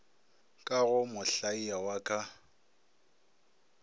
ka go mohlaia wa ka